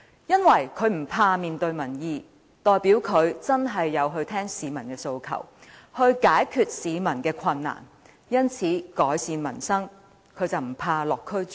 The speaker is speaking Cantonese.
因為這代表他不害怕面對民意，肯真正聆聽市民的訴求，以期解決他們的困難，改善民生。